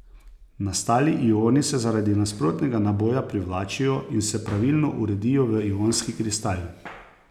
Nastali ioni se zaradi nasprotnega naboja privlačijo in se pravilno uredijo v ionski kristal.